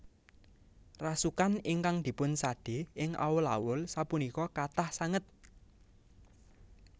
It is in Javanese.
Rasukan ingkang dipun sade ing awul awul sapunika kathah sanget